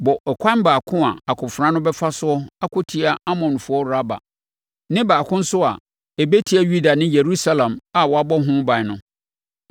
Bɔ ɛkwan baako a akofena no bɛfa soɔ akɔtia Amonfoɔ Raba ne baako nso a ɛbɛtia Yuda ne Yerusalem a wɔabɔ ho ban no.